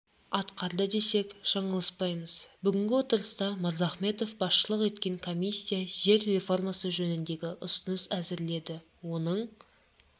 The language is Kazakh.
атқарды десек жаңылыспаймыз бүгінгі отырыста мырзахметов басшылық еткен комиссия жер реформасы жөніндегі ұсыныс әзірледі оның